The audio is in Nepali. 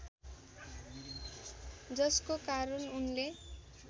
जसको कारण उनले